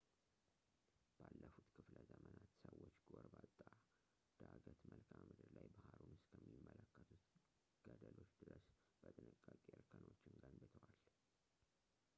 ባለፉት ክፍለዘመናት ሰዎች ጎርባጣ ዳገት መልክዓምድር ላይ ባህሩን እስከሚመለከቱት ገደሎች ድረስ በጥንቃቄ እርከኖችን ገንብተዋል